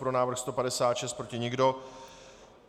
Pro návrh 156, proti nikdo.